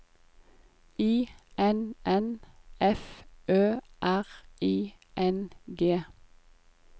I N N F Ø R I N G